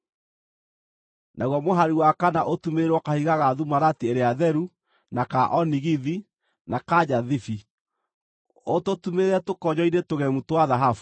naguo mũhari wa kana ũtumĩrĩrwo kahiga ga thumarati ĩrĩa theru, na ka onigithi, na ka njathibi. Ũtũtumĩrĩre tũkonyo-inĩ tũgemu twa thahabu.